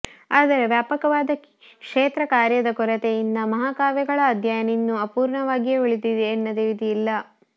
ಆದರೆ ವ್ಯಾಪಕವಾದ ಕ್ಷೇತ್ರಕಾರ್ಯದ ಕೊರತೆಯಿಂದ ಮಹಾಕಾವ್ಯಗಳ ಅಧ್ಯಯನ ಇನ್ನೂ ಅಪೂರ್ಣವಾಗಿಯೇ ಉಳಿದಿದೆ ಎನ್ನದೆ ವಿಧಿಯಿಲ್ಲ